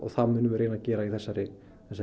það munum við reyna að gera í þessari